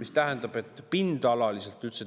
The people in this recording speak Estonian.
See tähendab, et